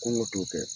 Kɔngɔ t'o kɛ